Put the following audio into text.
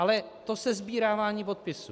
Ale to sesbírávání podpisů.